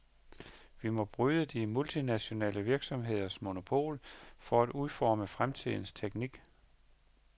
Vi må bryde de multinationale virksomheders monopol på at udforme fremtidens teknik.